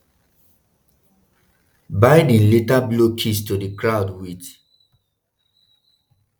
biden later blow kiss to di crowd - wit